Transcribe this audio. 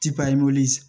Ti papiyew